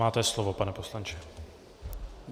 Máte slovo, pane poslanče.